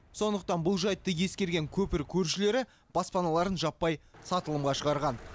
сондықтан бұл жайтты ескірген көпір көршілері баспаналарын жаппай сатылымға шығарған